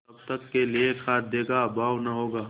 तब तक के लिए खाद्य का अभाव न होगा